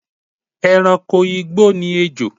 E̩ranko igbó ni ejò